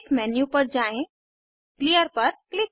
अपने मौलिक स्ट्रक्चर पर वापस जाने के लिए एडिट मेन्यू पर जाएँ